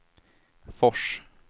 Fors